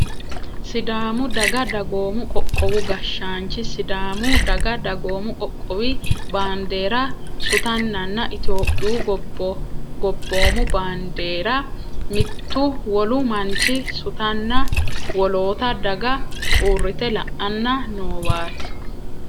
Sidaamu daga dagoomu qoqqowu gashshaanchi sidaamu daga dagoomu qoqqowi bandeera sutannanna itiyophiyu gobboomu baandeera mittu wolu manchi sutanna wolootta daga uurrite la'anni noowaati.